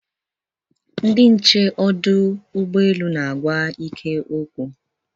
Ndị nche ọdụ ụgbọelu na-agwa Ike okwu.